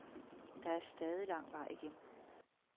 Der er stadig lang vej igen.